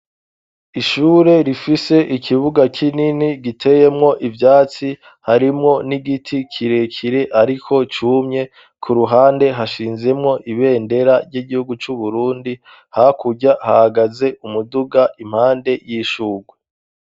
Ishure rifise ikibuga k'inini giteyemwo ivyatsi harimwo n'igiti kirekire, ariko cumye ku ruhande hashinzemwo ibendera ry'igihugu c'uburundi hakurya hagaze umuduga impande y'ishurwe.